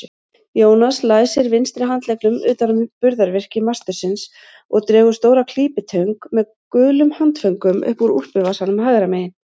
Jónas læsir vinstri handleggnum utan um burðarvirki mastursins og dregur stóra klípitöng með gulum handföngum upp úr úlpuvasanum hægra megin.